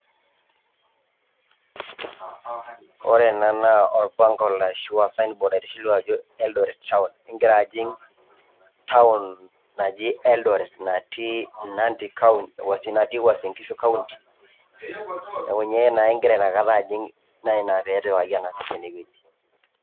Ore ena naa olbango ashu e sign board naitishilu ajo Eldoret Town, igira ajing town naji Eldoret natii Nandi county, natii Uasin Ngishu county, neaku ninye naa igira nakata ajing naa ninye pee etipikaki toki ene wueji.